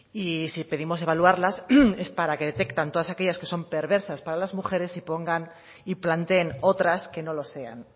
y si pedimos evaluarlas es para que detecten todas aquellas perversas para las mujeres y pongan y planteen otras que no lo sean